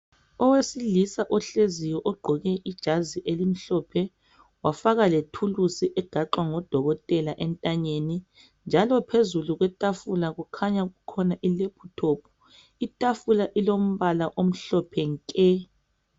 Owesilisa ohleziyo ogqoke ijazi elimhlophe, wafaka lethuluzi egaxwa ngodokotela entanyeni, njalo phezulu kwetafula kukhanya kukhona ilaptop. Itafula ilombala omhlophe nke!